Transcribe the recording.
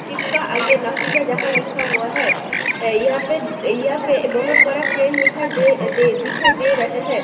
Ship का आगे नफीसाजहां लिखा हुआ है यहां पे यहां पर बहोत बड़ा क्रेन दिखाई दे दिखाई दे रहे हैं।